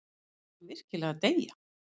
Var hann virkilega að deyja?